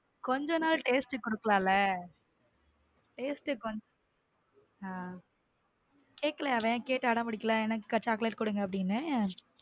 கொஞ்ச நாளும் taste க்கு குடுக்கலாம்ல taste க்கு கொஞ்சம் கேக்கலையா அவன் கேட்டு அடம் பிடிக்கலையா எனக்கு chocolate கொடுங்க அப்படின்னு.